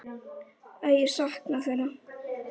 Að ég sakna þeirra.